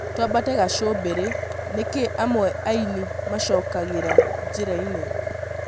Twambate gacũmbĩrĩ nĩkĩ amwe aaini macokagĩra njĩra-inĩ